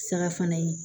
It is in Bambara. Saga fana ye